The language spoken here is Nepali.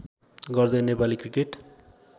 गर्दै नेपाली क्रिकेट